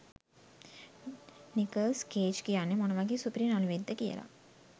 Nicholls Cage කියන්නෙ මොන වගේ සුපිරි නළුවෙක්ද කියලා.